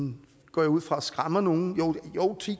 går jeg ud fra skræmmer nogen jo